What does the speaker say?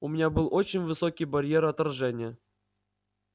у меня был очень высокий барьер отторжения